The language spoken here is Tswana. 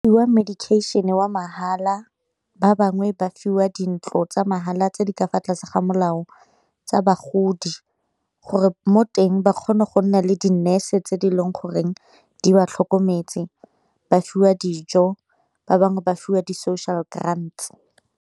medication wa mahala ba bangwe ba fiwa dintlo tsa mahala tse di ka fa tlase ga molao tsa bagodi, gore mo teng ba kgone go nna le di-nurse tse di e leng goreng di ba tlhokometse ba fiwa dijo ba bangwe ba fiwa di social grand.